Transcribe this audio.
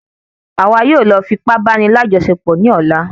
Àwa yóò lọ fi ipá bá ní àjọṣepọ̀ ní ọ̀la